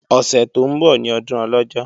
Ọ̀sẹ̀ tó ń bọ̀ ní ọdún Ọlọ́jọ́